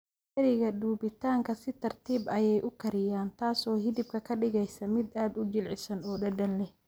Dheriga dubitaanka si tartiib ah ayay u kariyaa, taas oo hilibka ka dhigaysa mid aad u jilicsan oo dhadhan leh.